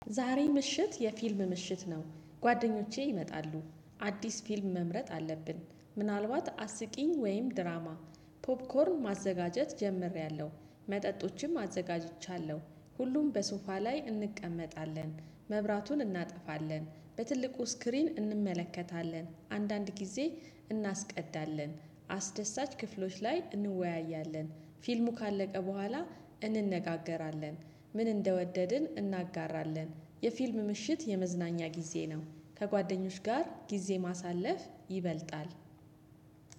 ዛሬ ምሽት የፊልም ምሽት ነው ጓደኞቼ ይመጣሉ። አዲስ ፊልም መምረጥ አለብን ምናልባት አስቂኝ ወይም ድራማ። ፖፕኮርን ማዘጋጀት ጀምሬያለሁ መጠጦችም አዘጋጅቻለሁ ሁሉም በሶፋ ላይ እንቀመጣለን። መብራቱን እናጠፋለን በትልቁ ስክሪን እንመለከታለን አንዳንድ ጊዜ እናስቀዳለን አስደሳች ክፍሎች ላይ እንወያያለን። ፊልሙ ካለቀ በኋላ እንነጋገራለን። ምን እንደወደድን እናጋራለን የፊልም ምሽት የመዝናኛ ጊዜ ነው። ከጓደኞች ጋር ጊዜ ማሳለፍ ይበልጣል።